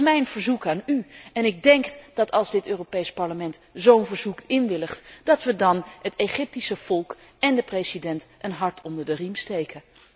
Dat is mijn verzoek aan u en ik denk dat als dit Europees Parlement zo'n verzoek inwilligt, wij dan het Egyptische volk en de president een hart onder de riem steken.